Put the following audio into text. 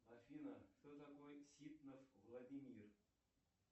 афина кто такой ситнов владимир